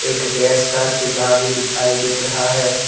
एक गैस का चूल्हा भी दिखाई दे रहा है।